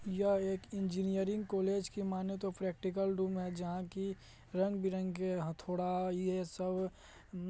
यह एक engineering college की माने तो प्रैक्टिकल रूम है जहां की रंग-बिरंगे हथोड़ा ये सब उम--